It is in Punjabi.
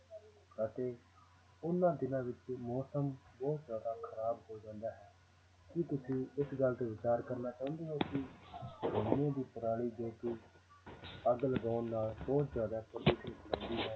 ਅਤੇ ਉਹਨਾਂ ਦਿਨਾਂ ਵਿੱਚ ਮੌਸਮ ਬਹੁਤ ਜ਼ਿਆਦਾ ਖ਼ਰਾਬ ਹੋ ਜਾਂਦਾ ਹੈ, ਕੀ ਤੁਸੀਂ ਇਸ ਗੱਲ ਤੇ ਵਿਚਾਰ ਕਰਨਾ ਚਾਹੁੰਦੇ ਹੋ ਕਿ ਝੋਨੇ ਦੀ ਪਰਾਲੀ ਤੇ ਕੀ ਅੱਗ ਲਗਾਉਣ ਨਾਲ ਬਹੁਤ ਜ਼ਿਆਦਾ ਪ੍ਰਦੂਸ਼ਣ ਹੁੰਦਾ ਹੈ